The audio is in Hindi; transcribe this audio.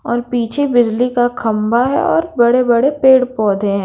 और पीछे बिजली का खंभा हैं और बड़े-बड़े पेड़-पौधे हैं।